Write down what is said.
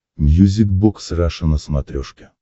мьюзик бокс раша на смотрешке